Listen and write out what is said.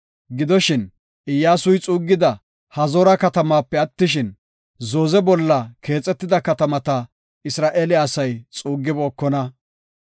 Gidoshin, Iyyasuy xuuggida Hazoora katamaape attishin, zooze bolla keexetida katamata Isra7eele asay xuugibookona.